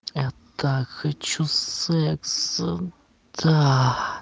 я так хочу секса да